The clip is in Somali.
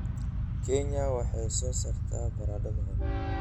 Kenya waxay soo saartaa baradho macaan.